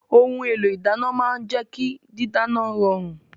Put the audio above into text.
Ohun èlò ìdáná máa ń jẹ́ kí dídáná rọrùn